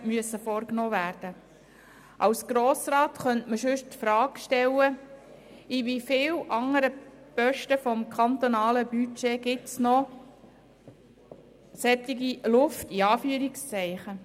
Als Grosser Rat könnten wir uns sonst die Frage stellen, in wie vielen anderen Positionen des kantonalen Budgets noch Luft vorhanden ist.